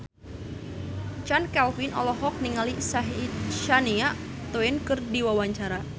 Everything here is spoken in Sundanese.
Chand Kelvin olohok ningali Shania Twain keur diwawancara